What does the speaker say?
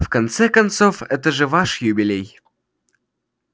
в конце концов это же ваш юбилей